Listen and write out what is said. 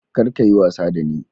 Kar ka yi wasa da ni!